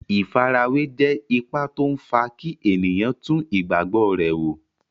Ìfarawé jẹ́ ipa tó n fa kí ènìyàn tún ìgbàgbọ́ rẹ̀ wò